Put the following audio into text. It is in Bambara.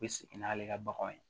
U bɛ sigi n'ale ka baganw ye